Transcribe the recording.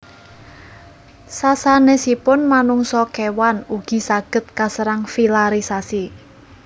Sasanesipun manungsa kewan ugi saged kaserang filarisasi